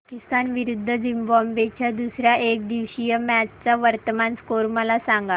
पाकिस्तान विरुद्ध झिम्बाब्वे च्या दुसर्या एकदिवसीय मॅच चा वर्तमान स्कोर मला सांगा